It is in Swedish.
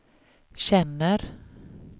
känner